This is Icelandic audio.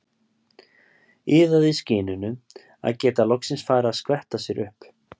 Iðaði í skinninu að geta loksins farið að skvetta sér upp.